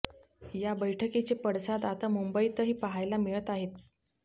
या बैठकीचे पडसाद आता मुंबईतही पाहायला मिळत आहेत